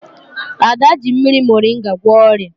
Ada ji mmiri morịnga gwọọ ọrịa